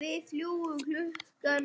Við fljúgum klukkan níu.